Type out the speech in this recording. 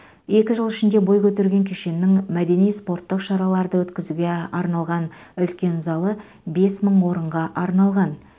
екі жыл ішінде бой көтерген кешеннің мәдени спорттық шараларды өткізуге арналған үлкен залы бес мың орынға арналған